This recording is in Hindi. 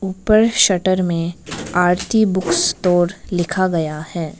ऊपर शटर में आरती बुक स्टोर लिखा गया है।